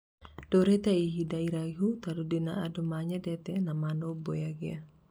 ndurĩte ihinda iraihu tondũ ndina andũ manyendete na manũmbũyagia.